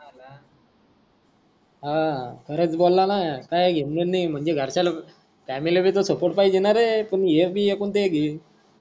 हा खरच बोला ना काही घेण देन नाही म्हणजे घरच्या लोक फॅमिलीबी त सपोर्ट पाहिजे ना रे हे भी एकुल्ता एक आहे.